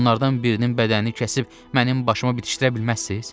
Onlardan birinin bədənini kəsib mənim başıma bitişdirə bilməzsiz?